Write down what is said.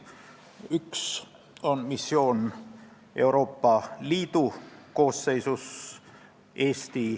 Üks on missioon Euroopa Liidu koosseisus .